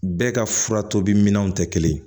Bɛɛ ka fura tobi minɛnw tɛ kelen ye